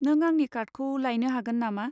नों आंनि कार्डखौ लायनो हागोन नामा?